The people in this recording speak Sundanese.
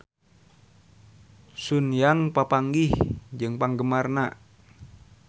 Sun Yang papanggih jeung penggemarna